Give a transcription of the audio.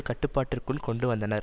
கட்டுப்பாட்டிற்குள் கொண்டு வந்தனர்